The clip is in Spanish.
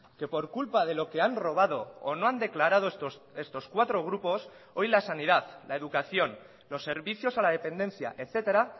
que por culpa de lo que han robado o no han declarado estos cuatro grupos hoy la sanidad la educación los servicios a la dependencia etcétera